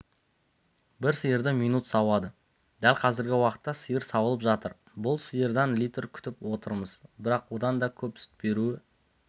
бір сиырды минут сауады дәл қазіргі уақытта сиыр сауылып жатыр бұл сиырдан литр күтіп отырмыз бірақ одан да көп сүт беруі